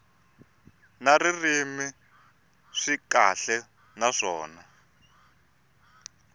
na ririmi swi kahle naswona